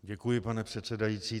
Děkuji pane předsedající.